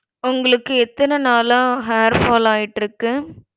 உங்களுக்கு எத்தன நாளா hair fall ஆயிட்டுருக்கு.